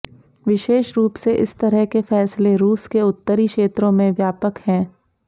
विशेष रूप से इस तरह के फैसले रूस के उत्तरी क्षेत्रों में व्यापक हैं